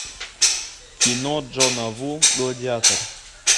кино джона ву гладиатор